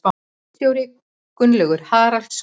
Ritstjóri Gunnlaugur Haraldsson.